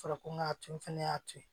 Fɔra ko n ka to fɛnɛ y'a to yen